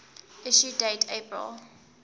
issue date april